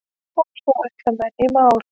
Og svo ætla menn í mál.